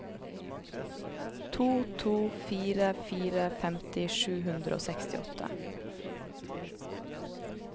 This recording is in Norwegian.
to to fire fire femti sju hundre og sekstiåtte